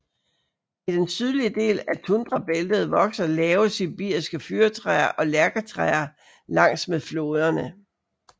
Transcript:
I den sydlige del af tundrabæltet vokser lave sibiriske fyrretræer og lærketræer langs med floderne